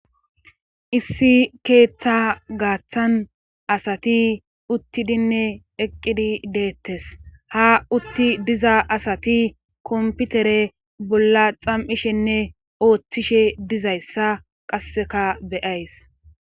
issi keeththa gaaththan asati uttidinne eqqidi deettes ha utti diza asati komputere bolla xam7ishenne ooththishe dizayssa qasseka beyays